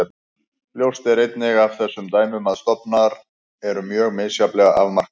Ljóst er einnig af þessum dæmum að stofnar eru mjög misjafnlega afmarkaðir.